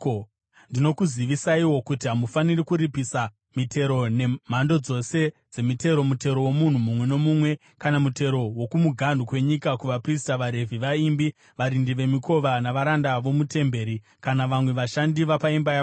Ndinokuzivisaiwo kuti hamufaniri kuripisa mitero, nemhando dzose dzemitero, mutero womunhu mumwe nomumwe, kana mutero wokumuganhu kwenyika, kuvaprista, vaRevhi, vaimbi, varindi vemikova, navaranda vomutemberi kana vamwe vashandi vapaimba yaMwari.